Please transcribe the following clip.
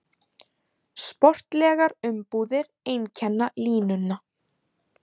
Sportlegar umbúðir einkenna línuna